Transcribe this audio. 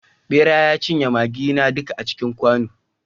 bera ya cinye maggina duka a cikin kwano